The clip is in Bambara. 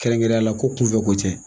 Kɛrɛnkɛrɛnyala ko kunfɛ ko tɛ.